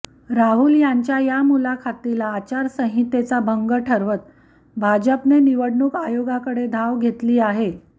राहुल यांच्या या मुलाखतीला आचारसंहितेचा भंग ठरवत भाजपने निवडणूक आयोगाकडे धाव घेतली आहे